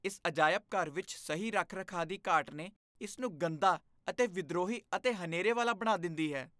ਇਸ ਅਜਾਇਬ ਘਰ ਵਿੱਚ ਸਹੀ ਰੱਖ ਰਖਾਅ ਦੀ ਘਾਟ ਨੇ ਇਸ ਨੂੰ ਗੰਦਾ ਅਤੇ ਵਿਦਰੋਹੀ ਅਤੇ ਹਨੇਰੇ ਵਾਲਾ ਬਣਾ ਦਿੰਦੀ ਹੈ